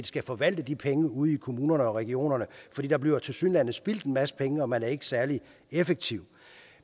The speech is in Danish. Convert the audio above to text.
skal forvalte de penge ude i kommunerne og regionerne for der bliver tilsyneladende spildt en masse penge og man er ikke særlig effektiv